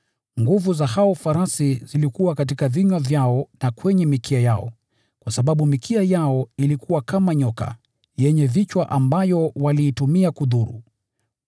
Nguvu za hao farasi zilikuwa katika vinywa vyao na kwenye mikia yao, kwa sababu mikia yao ilikuwa kama nyoka, yenye vichwa ambayo waliitumia kudhuru.